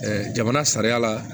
jamana sariya la